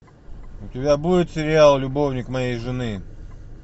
у тебя будет сериал любовник моей жены